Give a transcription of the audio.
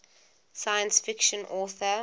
science fiction author